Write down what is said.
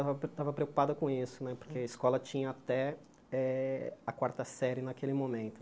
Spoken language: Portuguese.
Estava estava preocupada com isso né, porque a escola tinha até eh a quarta série naquele momento.